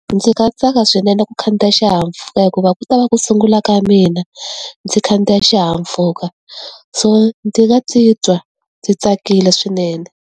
Ndzi nga tsaka swinene ku khandziya xihahampfhuka hikuva ku ta va ku sungula ka mina, ndzi khandziya xihahampfhuka. So ndzi nga ti twa ndzi tsakile swinene.